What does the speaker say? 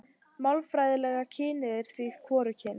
Málfræðilega kynið er því hvorugkyn.